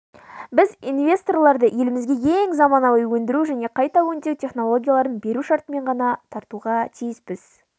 біз инвесторларды елімізге ең заманауи өндіру және қайта өңдеу технологияларын беру шартымен ғана тартуға тиіспіз